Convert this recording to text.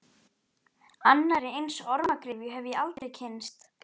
Annarri eins ormagryfju hef ég aldrei kynnst.